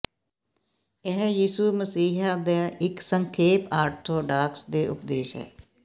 ਇਹ ਯਿਸੂ ਮਸੀਹ ਦਾ ਇੱਕ ਸੰਖੇਪ ਆਰਥੋਡਾਕਸ ਦੇ ਉਪਦੇਸ਼ ਹੈ